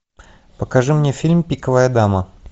покажи мне фильм пиковая дама